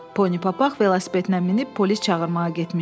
Poni papaq velosipedinə minib polis çağırmağa getmişdi.